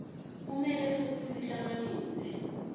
kumele futsi sihlanganise